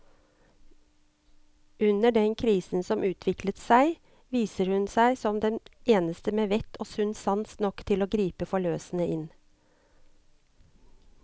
Under den krisen som utvikler seg, viser hun seg som den eneste med vett og sunn sans nok til å gripe forløsende inn.